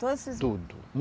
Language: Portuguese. Todos esses. Tudo.